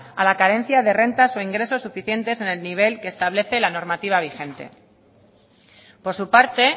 a la carencia de rentas o ingresos suficientes en el nivel que establece la normativa vigente por su parte